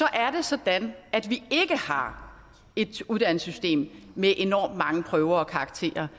er det sådan at vi ikke har et uddannelsessystem med enormt mange prøver og karakterer